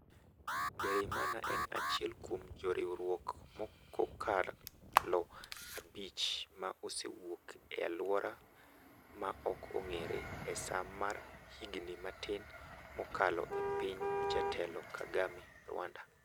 Ndereyimana en achiel kuom joriwruok mokokalo abich ma osewuok e alwora ma ok ong'ere. e saa mar higni matin mokalo e piny jatelo Kagame, Rwanda